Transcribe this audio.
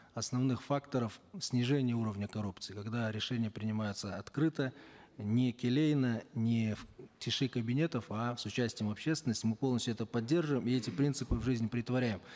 основных факторов к снижению уровня коррупции когда решения принимаются открыто не келейно не в тиши кабинетов а с участием общественности мы полностью это поддерживаем и эти принципы в жизнь претворяем